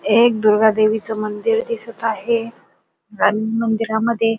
एक दुर्गा देवीच मंदिर दिसत आहे आणि मंदिरामध्ये--